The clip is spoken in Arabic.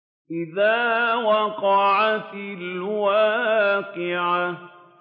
إِذَا وَقَعَتِ الْوَاقِعَةُ